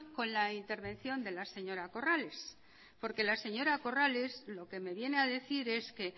con la intervención de la señora corrales porque la señora corrales lo que me viene a decir es que